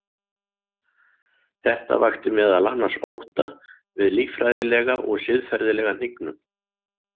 Þetta vakti meðal annars ótta við líffræðilega og siðferðilega hnignun.